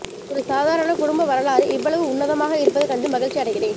ஒரு சாதரண குடும்ப வரலாறு இவ்வளவு உன்னதமாக இருப்பது கண்டு மகிழ்ச்சி அடைகிறேன்